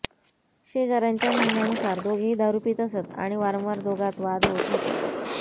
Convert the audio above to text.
शेजाऱ्यांच्या म्हणण्यानुसार दोघेही दारु पित असत आणि वारंवार दोघांत वाद होत होते